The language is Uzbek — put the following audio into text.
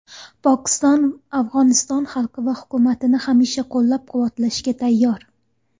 Pokiston Afg‘oniston xalqi va hukumatini hamisha qo‘llab-quvvatlashga tayyor.